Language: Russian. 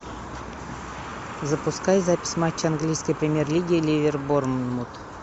запускай запись матча английской премьер лиги ливер борнмут